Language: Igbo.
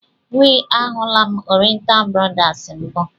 We, a hụla m Oriental brothers mbụ.